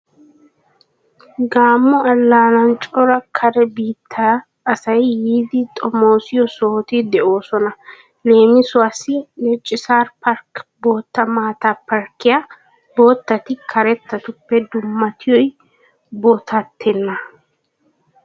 Gamo allaanan cora kare biittaa asay yiiddi xomoossiyo sohoti de'oosona leemisuwaassi (Netchsar park) bootta maataa parkkiyaa. Boottati karettatuppe dummatiyoy bootatettaana.